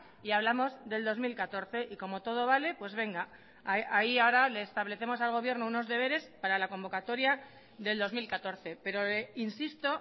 y hablamos del dos mil catorce y como todo vale pues venga ahí ahora le establecemos al gobierno unos deberes para la convocatoria del dos mil catorce pero insisto